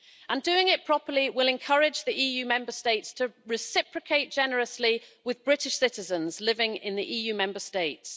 And doing it properly will encourage the EU Member States to reciprocate generously with British citizens living in the EU Member States.